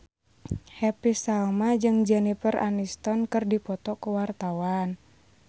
Happy Salma jeung Jennifer Aniston keur dipoto ku wartawan